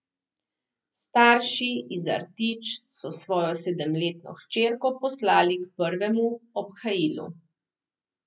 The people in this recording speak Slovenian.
Starši iz Artič so svojo sedemletno hčerko poslali k prvemu obhajilu.